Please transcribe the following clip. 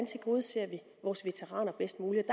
tilgodeser vores veteraner bedst muligt og